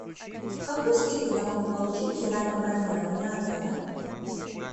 какую скидку я могу получить при раннем бронировании отеля